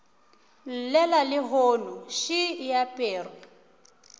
llela lehono še e aperwe